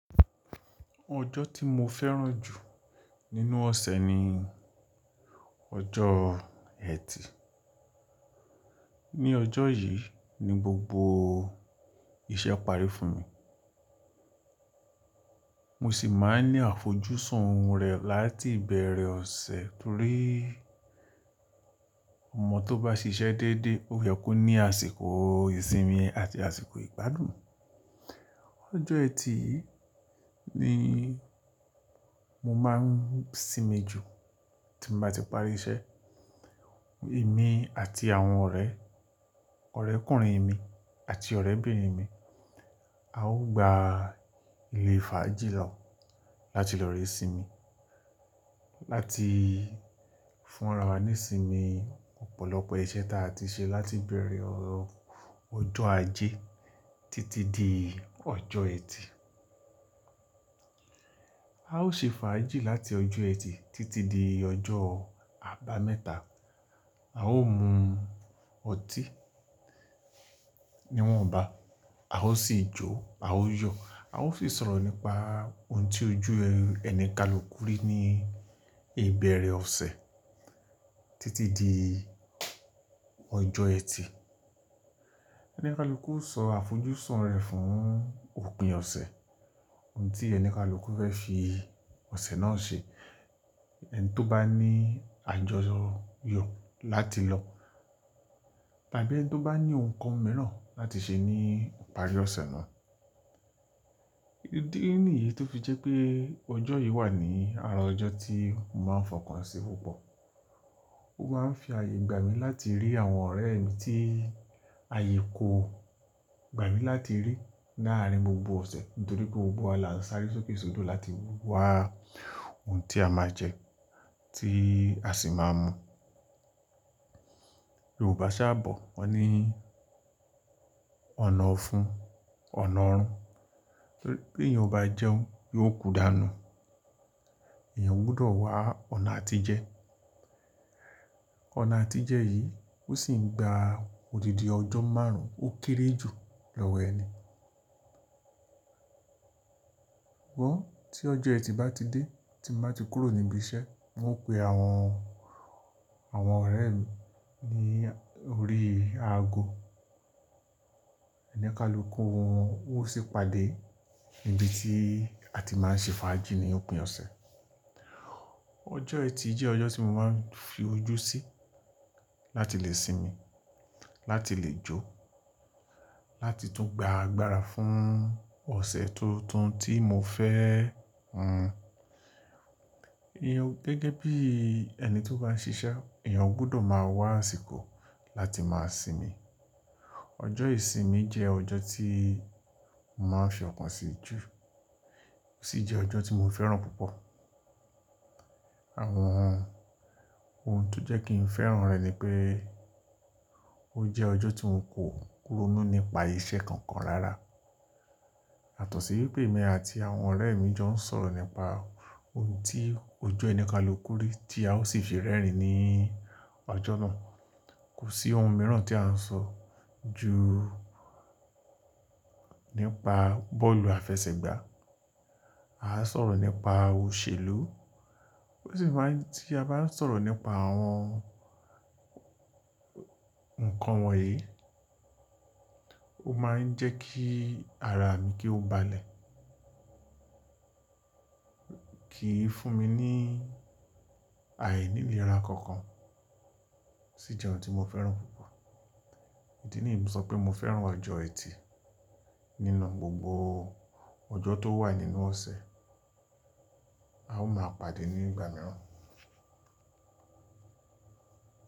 Ọjọ́ tí mo fẹ́ràn jù nínú ọ̀sẹ̀ ni ọjọ́ ẹtì. Ni ọjọ́ yìí ni gbogbo iṣẹ́ parí fún mi. Mo sì máa ń ní àfojúsùn rẹ̀ láti ìbẹ̀rẹ̀ ọ̀sẹ̀ torí ọmọ tó bá ṣiṣẹ́ dédé, ó yẹ kó ní àsìkò ìsinmi àti àsìkò ìgbádùn. Ọjọ́ ẹtì yìí ni mo máa ń sinmi jù tí mo bá ti parí iṣẹ́. Èmi àti àwọn ọ̀rẹ́, ọ̀rẹ́kùnrin mi àti ọ̀rẹ́bìnrin mi, a ó gba ilé fàájì lọ́ láti lọ rẹ́sinmi, láti fúnra wa nísìnmí, ọ̀pọ̀lọpọ̀ iṣẹ́ ta a ti ṣe láti ìbẹ̀rẹ̀ ọjọ́ ajé títí di ọjọ́ ẹtì. A ó ṣe fàájì láti ọjọ́ ẹtì títí di ọjọ́ àbámẹ́ta. A ó mu ọtí níwọ̀nba, a ó sì jóó, a ó yọ̀, a ó sì sọ̀rọ̀ nípa ohun tí ojú ẹni kalù kúrò ní ìbẹ̀rẹ̀ ọ̀sẹ̀ títí di ọjọ́ ẹtì. Oni kalù kú o sọ àfojúsùn rẹ̀ fún òpin ọ̀sẹ̀, ohun tí ẹni kalù kú fẹ́ fi ọ̀sẹ̀ náà ṣe. Ẹni tó bá ní àjọyọ̀ láti lọ, tàbí ẹni tó bá ní nǹkan mìíràn láti ṣe ní ìparí ọ̀sẹ̀ náà. Idí nìyí tó fi jẹ́ pé ọjọ́ yìí wà ní ara ọjọ́ tí mo máa ń fọkàn sí púpọ̀. O máa ń fi àyè gbà mí láti rí àwọn ọ̀rẹ́ mi tí àyè kò gbà mí láti rí láàárín gbogbo ọ̀sẹ̀ torí pé gbogbo alàsárí sókè sódò láti wá ohun tí a máa jẹ, tí a sì máa mu. Yorùbá ṣáabọ̀, wọ́n ní ọ̀nà ọ̀fun, ọ̀nà ọ̀run. Torí bé èèyàn bá jẹ́un, yóò kú dànù. Ẹ̀yàn gbọdọ̀ wá ọ̀nà àtijẹ. Ọ̀nà àtijẹ yìí ó sì ń gba odidi ọjọ́ márùn-ún, ó kéré jù lọ́wọ́ ẹni. Ṣugbọn tí ọjọ́ ẹtì bá ti dé tí mo bá ti kúrò níbi iṣẹ́, mo pè àwọn ọ̀rẹ́ mi ní orí aago. Eni kalù kú wọ́n ó sì pàdé níbi tí a ti máa ń ṣe fàájì ní òpin ọ̀sẹ̀. Ọjọ́ ẹtì jẹ́ ọjọ́ tí mo máa ń fi ojú sí láti lè sinmi, láti lè jó, láti tún gba agbára fún ọ̀sẹ̀ tuntun tí mo fẹ́. Ẹ̀yàn gẹ́gẹ́ bí ẹni tó bá ń ṣiṣẹ́, ẹ̀yàn gbọdọ̀ máa wá àsìkò láti máa sinmi. Ọjọ́ ìsinmi jẹ́ ọjọ́ tí mo máa ń fi ọ̀kan sí jù, ó sì jẹ́ ọjọ́ tí mo fẹ́ràn púpọ̀. Àwọn ohun tó jẹ́ kí n fẹ́ràn rẹ̀ ni pé ó jẹ́ ọjọ́ tí un kò kúronú nípa iṣẹ́ kankan rárá. Yàtọ̀ ṣí wípé èmi àti àwọn ọ̀rẹ́ mi jọ ń sọ̀rọ̀ nípa ohun tí ojú ẹni kalù kúri tí a ó sì fi rẹ́rìn-ín ní ọjọ́ náà. Kò sí ohun mìíràn tí à ń sọ ju nípa bọ́ọ̀lù àfẹsẹ̀gbá. A á sọ̀rọ̀ nípa òṣèlú, ó sì máa ń tí a bá ń sọ̀rọ̀ nípa àwọn nǹkan wọ̀nyí, ó máa ń jẹ́ kí ara mi ki ó balẹ̀, kì í fún mi ní àìnínira kankan. Sí jẹ́ ohun tí mo fẹ́ràn púpọ̀. Èyí nìyí ń sọ pé mo fẹ́ràn ọjọ́ ẹtì nínú gbogbo ọjọ́ tó wà nínú ọ̀sẹ̀. A ó máa pàdé ní ìgbà mìíràn.